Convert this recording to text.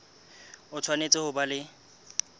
o tshwanetse ho ba le